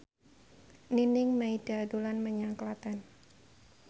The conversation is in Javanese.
Nining Meida dolan menyang Klaten